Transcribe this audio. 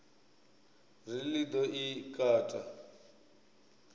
ri ḽi ḓo i kata